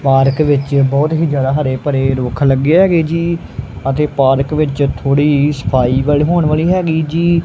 Park ਵਿੱਚ ਬਹੁਤ ਹੀ ਜਿਆਦਾ ਹਰੇ ਭਰੇ ਰੁੱਖ ਲੱਗੇ ਹੈਗੇ ਜੀ ਅਤੇ ਪਾਰਕ ਵਿੱਚ ਥੋੜੀ ਸਫਾਈ ਵਾਲੇ ਹੋਣ ਵਾਲੀ ਹੈਗੀ ਜੀ।